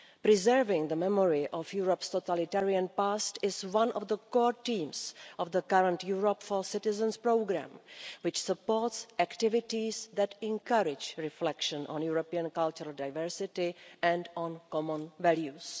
Preserving the memory of Europe's totalitarian past is one of the core themes of the current Europe for Citizens programme, which supports activities that encourage reflection on European cultural diversity and on common values.